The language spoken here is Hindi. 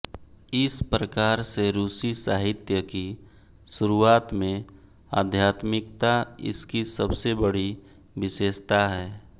इस प्रकार से रूसी साहित्य की शुरुआत में आध्यात्मिकता इसकी सबसे बड़ी विशेषता है